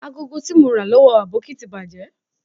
Agogo ti mo ra lowo Aboki ti baje